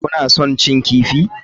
Kuna son cin kifi?